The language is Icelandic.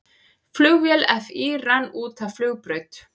Flugvél FÍ rann út af flugbraut